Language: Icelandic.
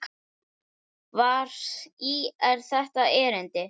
Þar í er þetta erindi